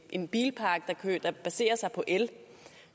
en bilpark der baserer sig på el